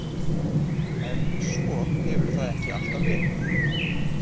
En svo hefur það ekki alltaf verið.